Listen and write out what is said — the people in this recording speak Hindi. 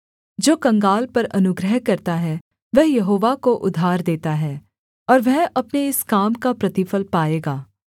जो कंगाल पर अनुग्रह करता है वह यहोवा को उधार देता है और वह अपने इस काम का प्रतिफल पाएगा